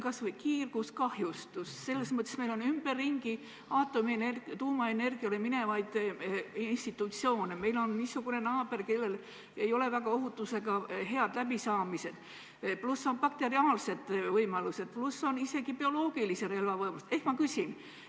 Kas või kiirguskahjustus, meil on ümberringi tuumaenergial töötavaid institutsioone, meil on niisugune naaber, kellel ei ole ohutusega väga head läbisaamist, on bakteriaalsed võimalused, on isegi bioloogilise relva võimalused.